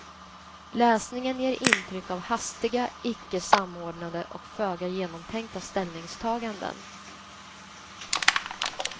Läsningen ger intryck av hastiga, icke samordnade och föga genomtänkta ställningstaganden.